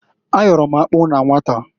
A yọrọ m akpụ na nwata.